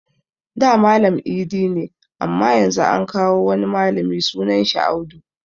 Da Malam idi ne amma Yanzu an kawo wani malami sunan shi Audu